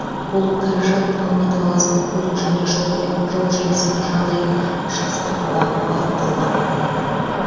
бұл қаражат алматы қаласының көлік және жол е жол желісінің жағдайын жақсартуға бағытталған